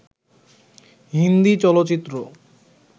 হিন্দি চলচ্চিত্র